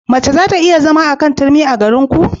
Mace za ta iya zama a kan turmi a garinku?